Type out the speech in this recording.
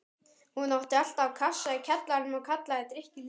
Hún átti alltaf kassa í kjallaranum og kallaði drykkinn límonaði.